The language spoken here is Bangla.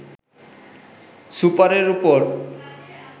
সুপারের ওপর